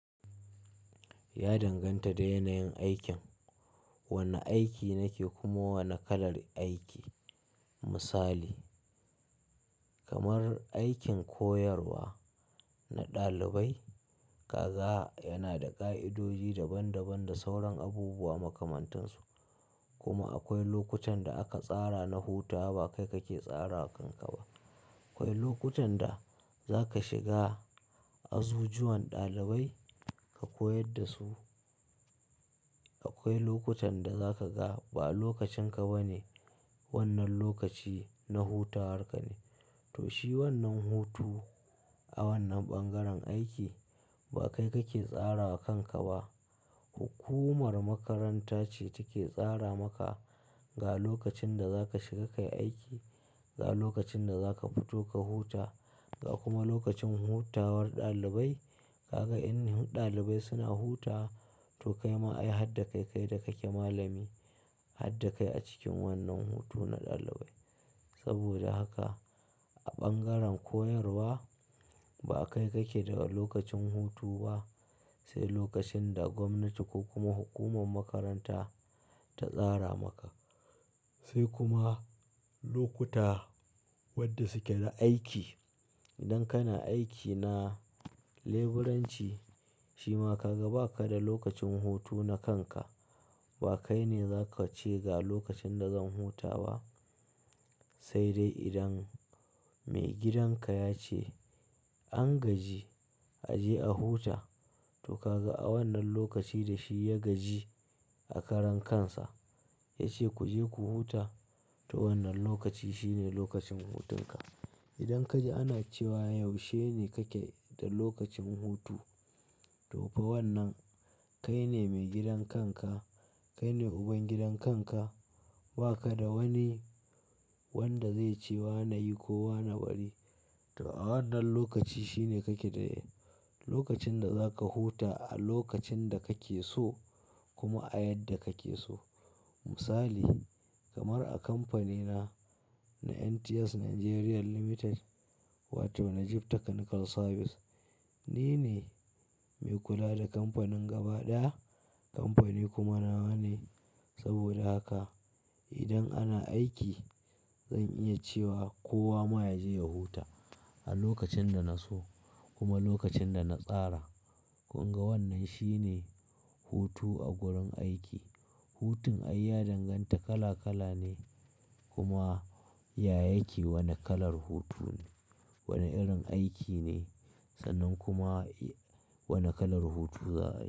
Ya danganta da yanayin aikin. Wane aiki nake kuma wane kalar aiki. Misali kamar aikin koyarwa na ɗalibai, kaga yana da ƙa'idoji daban-daban da sauran abubuwa makamantansu. Kuma akwai lokutan da aka tsara na hutawa, ba kai kake tsara kanka ba. Akwai lokutan da za ka shiga azuzuwan ɗalibai ka koyar da su. Akwai lokutan da za ka ga ba lokacin ka ba ne. Wannan lokaci na hutawar ka ne. To shi wannan hutu a wannan ɓangaren aiki ba kai kake tsara kanka ba. Hukumar makaranta ce take tsara maka ga lokacin da za ka shiga ka yi aiki, ga lokacin da za ka fito ka huta ga kuma lokacin hutawar ɗalibai. Kaga in ɗalibai suna hutawa to kai ma ayi hadda kai kai da kake malami, hadda kai a cikin wannan hutu na ɗalibai. Saboda haka a ɓangaren koyarwa ba kai kake da lokacin hutu ba sai lokacin da gwamnati ko kuma hukumar makaranta ta tsara maka. Sai kuma lokuta wadda suke da aiki. Idan kana aiki na leburanci, shima kaga ba ka da lokacin hutu na kanka. Ba kai ne za ka ce ga lokacin da zan huta ba sai dai idan maigidan ka ya ce an gaji a je a huta. To kaga a wannan lokaci da shi ya gaji a karan kansa ya ce ku je ku huta, to wannan lokaci shi ne lokacin hutun ka. Idan ka ji ana cewa yaushe ne kake da lokacin hutu. To fa wannan kai ne mai gidan kanka, kai ne uban gidan kanka, ba ka da wani wanda zai ce wa na yi ko wa na bari. To a wannan lokaci shi ne kake da lokacin da za ka huta a lokacin da kake so kuma a yadda kake so. Misali kamar a kamfanina na NTS Nigeria Limited wato Najib Technical Services, ni ne mai kula da kamfanin gaba ɗaya. Kamfani kuma nawa ne. Saboda haka idan ana aiki zan iya cewa kowa ma ya je ya huta a lokacin da na so kuma lokacin da na tsara. Kun ga wannan shi ne hutu a gurin aiki. Hutun ai ya danganta kala kala ne kuma ya yake wane kalar hutu ne, wane irin aiki ne sannan kuma wane kalar hutu za a yi.